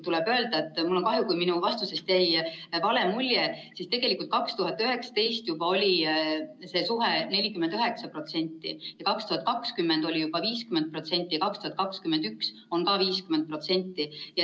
Tuleb öelda, et mul on kahju, kui minu vastustest jäi vale mulje, sest juba 2019 oli see 49%, 2020 oli juba 50%, 2021 on ka 50%.